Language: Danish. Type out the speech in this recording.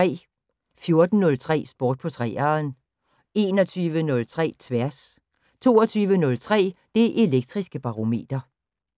14:03: Sport på 3'eren 21:03: Tværs 22:03: Det Elektriske Barometer